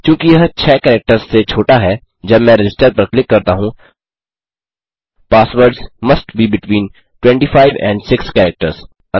चूँकि यह 6 कैरेक्टर्स से छोटा है जब मैं रजिस्टर पर क्लिक करता हूँ passwords must be between 25 and 6 characters